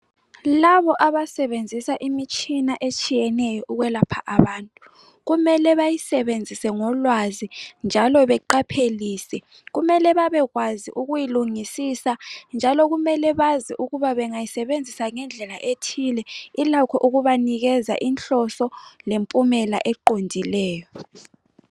Labo abasebenzisa imitshina etshiyeneyo ukwelapha abantu kumele bayisebenzise ngolwazi njalo beqaphelise. Kumele babekwazi ukuyilungisisa njalo kumele bazi ukuba bengayisebenzisa ngendlela ethile ilakho ukubanikeza inhloso lempumela eqondileyo.